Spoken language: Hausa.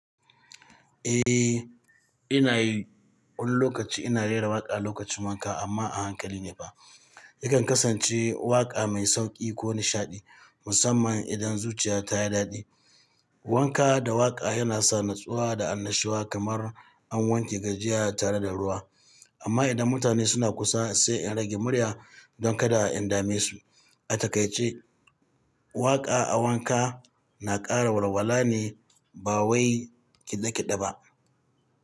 Eh, ina yi wani lokaci ina rera waƙa lokacin wanka amma a hankali ne fa. Yakan kasance waƙa mai sauƙi ko nishaɗi, musamman idan zuciya ta yi daɗi. Wanka da waƙa yana sa natsuwa da annashuwa kamar an wanke gajiyaya tare da ruwa. Amma idan mutane suna kusa, sai in rage murya don kada in dame su. A takaice, waƙa a wanka na ƙara walwala ne ba wai ƙiɗe-ƙiɗe ba.